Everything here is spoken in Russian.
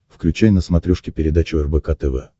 включай на смотрешке передачу рбк тв